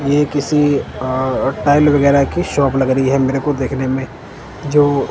यह किसी टाईल वगैराह की शॉप लग रही है मेरे को देखने में जो--